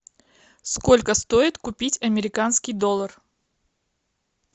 сколько стоит купить американский доллар